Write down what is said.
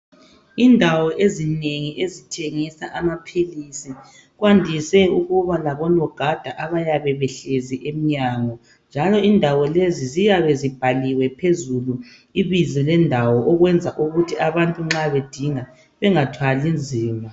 Indawo ezinengi ezithengisa amaphilisi kwandise ukuba labonogada abayabe behlezi emnyango. Njalo indawo lezi ziyabe zibhaliwe phezulu ibizo lendawo kwenzela ukuthi abantu nxa bedinga bengathwali nzima.